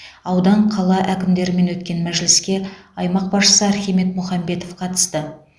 аудан қала әкімдерімен өткен мәжіліске аймақ басшысы архимед мұхамбетов қатысты